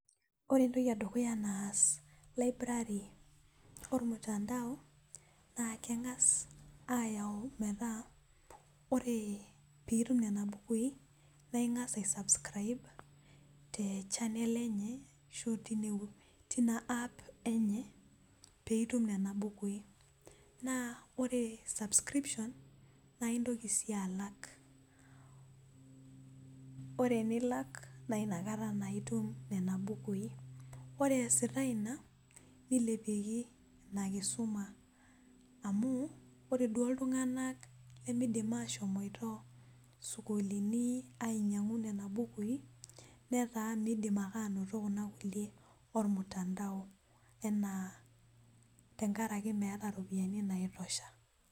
ore entoki edukuya naas library olmutandao naa keng'as ayau metaa ore pee itum nena bukui ning'as a subscribe te channel enye ashu tina app enye pee itum nena bukui, naa ore subscription naa intoki sii alak ore tenenilak naa inakata naa itum nena bukui ore eesita ina nilepieki ina kisuma amu ore duo iltung'anak lemidim ashomoito isukuulini ainyang'u ndna bukui netaa miidim ake anoto kuna kulie olmutandao enaa tengaraki meeta iropiyiani naitosha.